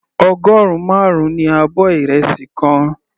Ọgọrun marun ní abọ́ ìrẹsì kan.